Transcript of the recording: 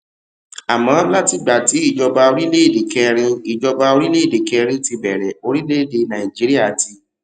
àmó látìgbà tí ìjọba orílèèdè kẹrin ìjọba orílèèdè kẹrin ti bèrè orílèèdè nàìjíríà ti